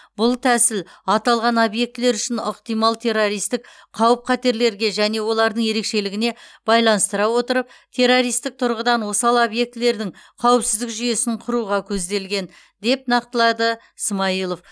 бұл тәсіл аталған объектілер үшін ықтимал террористік қауіп қатерлерге және олардың ерекшелігіне байланыстыра отырып террористік тұрғыдан осал объектілердің қауіпсіздік жүйесін құруға көзделген деп нақтылады смайылов